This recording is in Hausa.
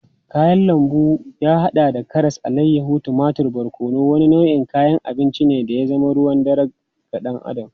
Kayan lambu wanda ya hada da karas, alayyahu, tumatur da barkono, wani nau'in kayan abinci ne da ya zama ruwan dare ga dan Adam.